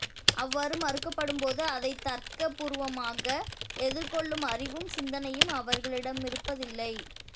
அவ்வாறு மறுக்கப்படும்போது அதை தர்க்கபூர்வமாக எதிர்கொள்ளும் அறிவும் சிந்தனையும் அவர்களிடமிருப்பதில்லை